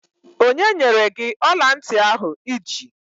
Onye nyere gị ọla ntị ahụ I ji?